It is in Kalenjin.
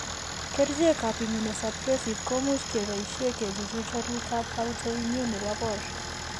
Kerchekap immunosuppressive ko much e boisie ke chuchuch waluutap autoimmune ne po boor.